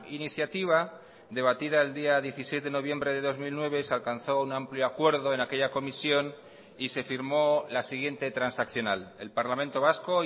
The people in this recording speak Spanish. iniciativa debatida el día dieciséis de noviembre de dos mil nueve se alcanzó un amplio acuerdo en aquella comisión y se firmó la siguiente transaccional el parlamento vasco